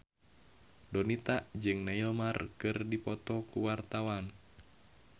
Donita jeung Neymar keur dipoto ku wartawan